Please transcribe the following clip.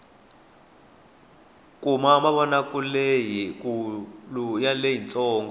kuna mavonakuleleyi kulu na leyi ntsongo